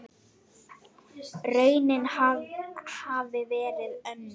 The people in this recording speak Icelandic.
Raunin hafi verið önnur.